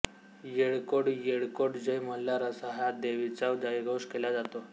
येळकोट येळकोट जय मल्हार असा या देवाचा जयघोष केला जातो